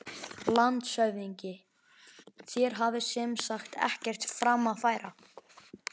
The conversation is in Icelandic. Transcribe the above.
LANDSHÖFÐINGI: Þér hafið sem sagt ekkert fram að færa?